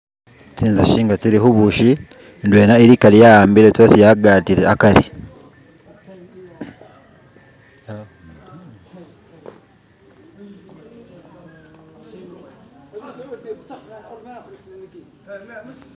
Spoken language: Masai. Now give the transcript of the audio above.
tsinzushi nga tsili hubushi ndwela ili akari yawambile tsosi yagatile akari